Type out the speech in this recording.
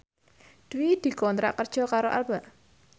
Dwi dikontrak kerja karo Alba